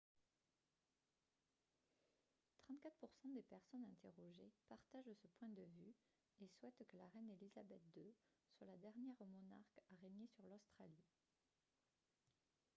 34 % des personnes interrogées partagent ce point de vue et souhaitent que la reine elizabeth ii soit la dernière monarque à régner sur l'australie